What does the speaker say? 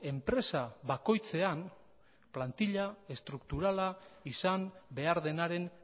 enpresa bakoitzean plantila estrukturala izan behar denaren